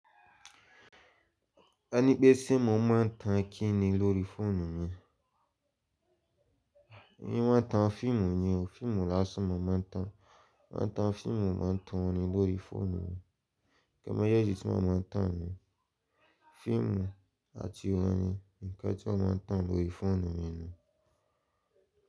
E ní pé ṣé mo máa ń tan kí ni lórí fóònù mi? Mi ò máa ń tan fíìmù ni o. Fíìmù lásán mo máa ń tan. Mo máa ń tan fíìmù, mo máa ń tan orin lórí fóònù mi. Ǹkan méjèèjì tí mo máa ń tan nìyẹn. Fíìmù àti orin ni nǹkan tí mo máa ń tan lórí fóònù mi ni.